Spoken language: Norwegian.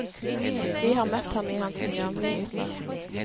Vi har møtt ham i hans nye omgivelser.